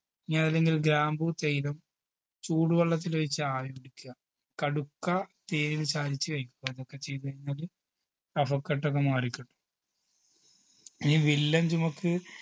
ഇനി അതെല്ലെങ്കിൽ ഗ്രാമ്പൂ തൈലം ചൂടുവെള്ളത്തിൽ ഒയ്ച്ച് ആവി പിടിക്കുക കടുക്ക തേന് ചാലിച്ച് കയ്ക്കുക എന്നൊക്കെ ചെയ്ത് കൈനാല് കഫക്കെട്ടൊക്കെ മാറിക്കിട്ടും ഇനി വില്ലൻ ചുമക്ക്